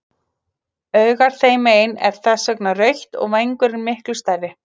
Augað þeim megin er þess vegna rautt og vængurinn miklu stærri.